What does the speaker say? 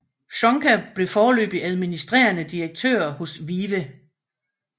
Csonka blev foreløbig administrerende direktør hos VIVE